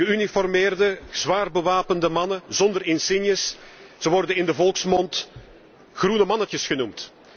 Geüniformeerde, zwaar bewapende mannen zonder insignes, zij worden in de volksmond groene mannetjes genoemd.